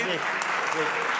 bir daha səsvermə.